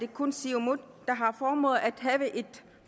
kun siumut der har formået at have et